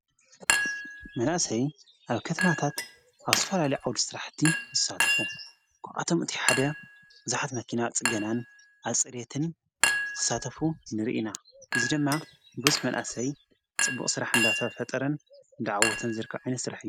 መናእሰይ ኣብ ከተማታት ኣብ ዝተፈላለዩ ዓውዱ ዝሥራሕቲ ዝሳትፉ ጐዓቶም እቲ ሓደ ዙኃት መኪና ጽገናን ኣጸሌትን ዝኽሳተፉ ንርኢና ዝ ደማ ብዙኅ መናኣሰይ ጽቡቕ ሥራ ሕንዳታፈጠረን ደዓወተን ዝርከዕኒ ሥራሕ እዩ ::